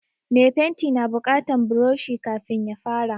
Me fenti na buƙatan buroshi kafin ya fara